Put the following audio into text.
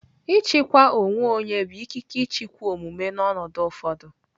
Ijikwa onwe onye bụ ikike ịchịkwa omume n'ọnọdụ ụfọdụ.